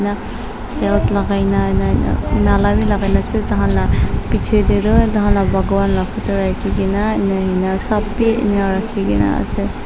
belt lagai na ina na mala bi lagai na ase taikhan la piche te toh taikhan la baghavan la photo rakhi kena inia inia sob bi inia rakhi kena ase.